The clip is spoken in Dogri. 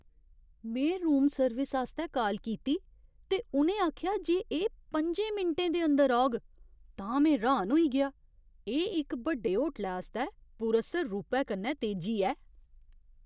में रूम सर्विस आस्तै काल कीती ते उ'नें आखेआ जे एह् पंजें मिंटें दे अंदर औग तां में र्‌हान होई गेआ। एह् इक बड्डे होटलै आस्तै पुरअसर रूपै कन्नै तेजी ऐ!